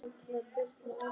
Það kemur fyrir.